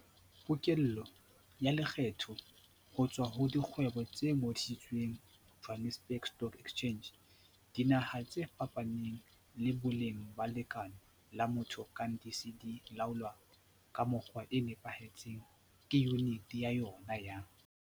Pokello ya lekgetho ho tswa ho dikgwebo tse ngodisitsweng Johannesburg Stock Exchange, JSE, dinaha tse fapaneng le boleng ba lekeno la motho kang di se di laolwa ka mokgwa o nepahetseng ke Yuniti ya yona ya